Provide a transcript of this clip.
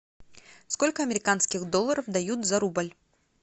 сколько американских долларов дают за рубль